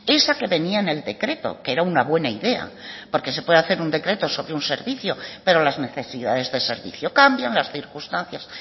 esa que venía en el decreto que era una buena idea porque se puede hacer un decreto sobre un servicio pero las necesidades de servicio cambian las circunstancias